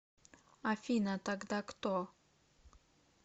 афина тогда кто